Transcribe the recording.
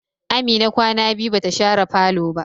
Amina kwana biyu bata share falo ba.